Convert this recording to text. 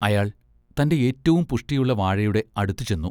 അയാൾ തൻ്റെ ഏറ്റവും പുഷ്ടിയുള്ള വാഴയുടെ അടുത്തുചെന്നു.